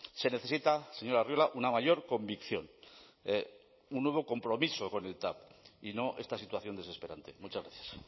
se necesita señor arriola una mayor convicción un nuevo compromiso con el tav y no esta situación desesperante muchas gracias